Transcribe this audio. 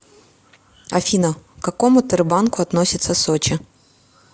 афина к какому тербанку относится сочи